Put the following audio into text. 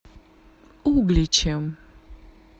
угличем